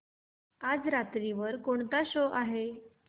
आज रात्री वर कोणता शो आहे